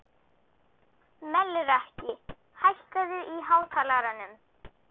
Melrakki, hækkaðu í hátalaranum.